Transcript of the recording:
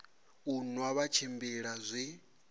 u nwa vha tshimbila zwi